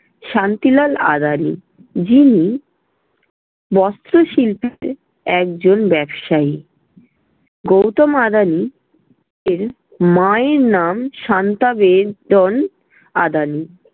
শান্তিলাল আদানি, যিনি- বস্ত্র শিল্পীতে এজজন ব্যবসায়ী। গৌতম আদানি এর মায়ের নাম শান্তা বেদন আদানি।